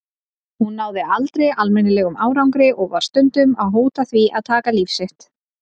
Hún náði aldrei almennilegum árangri og var stundum að hóta því að taka líf sitt.